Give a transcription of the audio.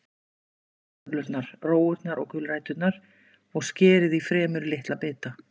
Flysjið kartöflurnar, rófurnar og gulræturnar og skerið í fremur litla bita.